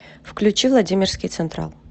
включи владимирский централ